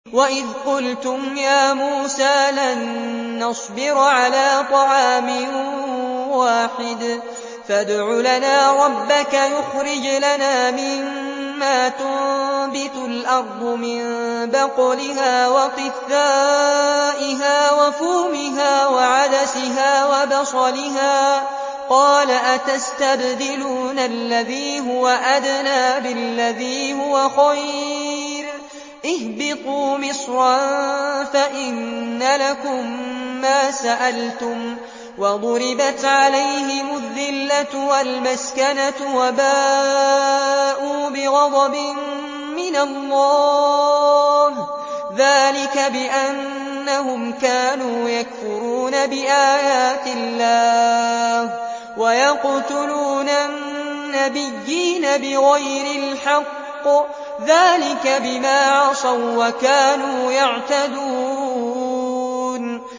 وَإِذْ قُلْتُمْ يَا مُوسَىٰ لَن نَّصْبِرَ عَلَىٰ طَعَامٍ وَاحِدٍ فَادْعُ لَنَا رَبَّكَ يُخْرِجْ لَنَا مِمَّا تُنبِتُ الْأَرْضُ مِن بَقْلِهَا وَقِثَّائِهَا وَفُومِهَا وَعَدَسِهَا وَبَصَلِهَا ۖ قَالَ أَتَسْتَبْدِلُونَ الَّذِي هُوَ أَدْنَىٰ بِالَّذِي هُوَ خَيْرٌ ۚ اهْبِطُوا مِصْرًا فَإِنَّ لَكُم مَّا سَأَلْتُمْ ۗ وَضُرِبَتْ عَلَيْهِمُ الذِّلَّةُ وَالْمَسْكَنَةُ وَبَاءُوا بِغَضَبٍ مِّنَ اللَّهِ ۗ ذَٰلِكَ بِأَنَّهُمْ كَانُوا يَكْفُرُونَ بِآيَاتِ اللَّهِ وَيَقْتُلُونَ النَّبِيِّينَ بِغَيْرِ الْحَقِّ ۗ ذَٰلِكَ بِمَا عَصَوا وَّكَانُوا يَعْتَدُونَ